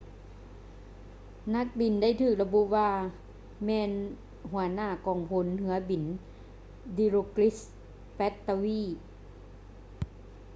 ນັກບິນໄດ້ຖືກລະບຸວ່າແມ່ນຫົວໜ້າກອງພົນເຮືອບິນ dilokrit pattavee